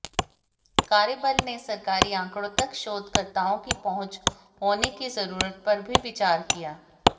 कार्यबल ने सरकारी आंकड़ों तक शोधकर्ताओं की पहुंच होने की जरूरत पर भी विचार किया